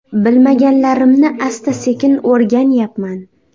Bilmaganlarimni asta-sekin o‘rganyapman.